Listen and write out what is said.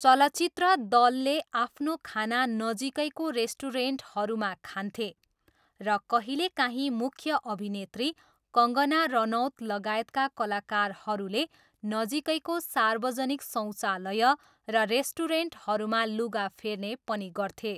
चलचित्र दलले आफ्नो खाना नजिकैको रेस्टुरेन्टहरूमा खान्थे र कहिलेकाहीँ मुख्य अभिनेत्री कङ्गना रनौत लगायतका कलाकारहरूले नजिकैको सार्वजनिक शौचालय र रेस्टुरेन्टहरूमा लुगा फेर्ने पनि गर्थे।